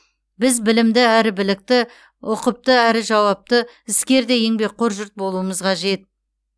біз білімді әрі білікті ұқыпты және жауапты іскер де еңбекқор жұрт болуымыз қажет